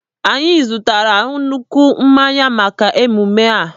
Anyị zụtara nnukwu mmanya maka emume ahụ.